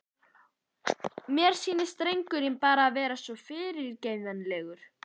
Mér sýnist drengurinn bara vera svo fyrirgengilegur.